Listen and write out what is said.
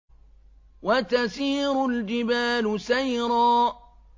وَتَسِيرُ الْجِبَالُ سَيْرًا